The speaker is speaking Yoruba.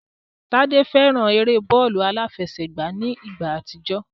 Tádé fẹ́ran eré bọ́ọ̀lù aláfẹsẹ̀gbá ní ìgbà àtijọ́